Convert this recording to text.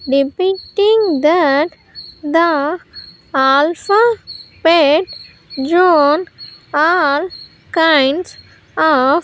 depicting that the alpha pet jun all kinds of --